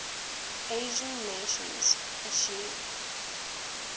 asian nations asean